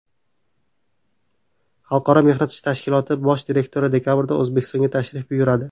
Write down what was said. Xalqaro mehnat tashkiloti bosh direktori dekabrda O‘zbekistonga tashrif buyuradi.